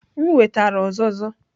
M wetara uzuzu.